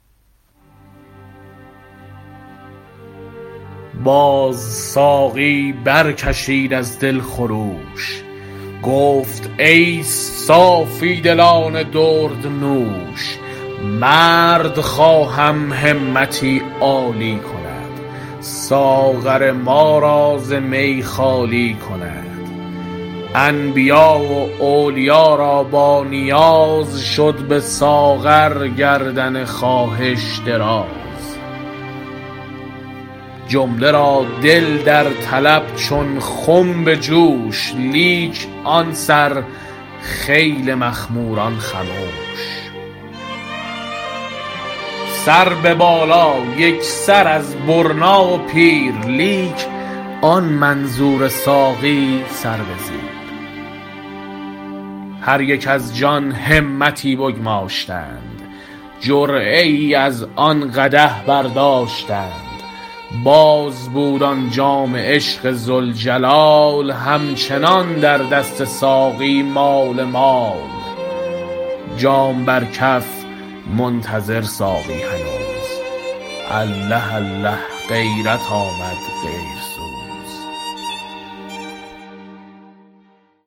در بیان اینکه آدمی به واسطه شرافت و گوهر فطرت و خاتمه در تعداد بحسب جسم امانت عشق را قابل آمد و جمال کبریایی را آیینه مقابل ولقد کرمنا بنی آدم و فضلنا هم علی کثیر ممن خلقنا تفضیلا نه فلک راست مسلم نه ملک را حاصل آنچه در سر سویدای بنی آدم ازوست سعدی در اینجا مقصود انسان کامل و حضرت ولی است و منظور از اشاره ساقی ازلی ست باز ساقی برکشید از دل خروش گفت ای صافی دلان درد نوش مرد خواهم همتی عالی کند ساغر ما را ز می خالی کند انبیا و اولیا را بانیاز شد بساغر گردن خواهش دراز جمله را دل در طلب چون خم بجوش لیک آن سر خیل مخموران خموش سر به بالا یکسر از برنا و پیر لیک آن منظور ساقی سر بزیر هر یک از جان همتی بگماشتند جرعه ای از آن قدح برداشتند باز بود آن جام عشق ذوالجلال همچنان در دست ساقی مال مال جام بر کف منتظر ساقی هنوز الله الله غیرت آمد غیر سوز